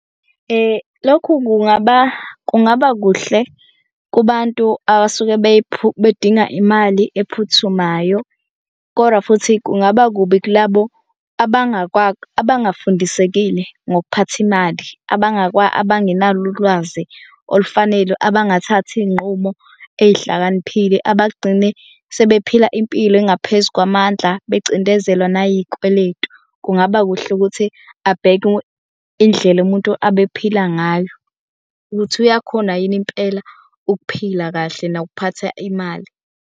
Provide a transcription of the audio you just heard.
Lokhu kungaba kungaba kuhle kubantu abasuke bedinga imali ephuthumayo, kodwa futhi kungaba kubi kulabo abangafundisekile ngokuphatha imali. Abangenalo ulwazi olufanele abangathathi iy'nqumo ezihlakaniphile abagcine sebephila impilo engaphezu kwamandla becindezelwa nayikweletu. Kungaba kuhle ukuthi abheke indlela umuntu abephila ngayo ukuthi uyakhona yini impela ukuphila kahle nokuphatha imali.